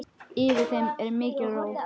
Yfir þeim er mikil ró.